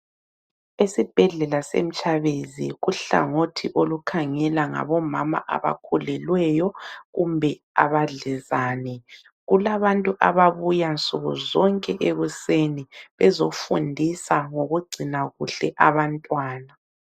Esibhedlela seMtshabezi kuhlangothi olukhangela ngabomama abakhulelweyo kumbe abadlezane, kulabantu ababuya nsuku zonke ekuseni bezofundisa ngokugcina kuhle abantwana.